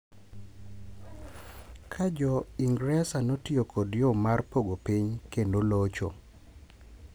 Ka Jo Ingresa notiyo kod yo mar pogo piny kendo locho.